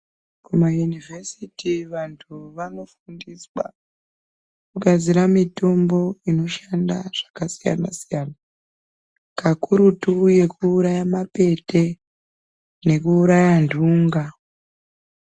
Kumayunivhesiti vanhu vanofundiswa kugadzira mitombo inoshanda zvakasiyana siyana kakurutu yekuuraya mapete nekuuraya nhunga.